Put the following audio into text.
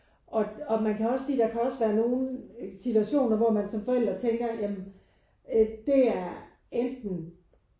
Og og man kan også sige der kan også være nogen situationer hvor man som forældre tænker ja men øh det er enten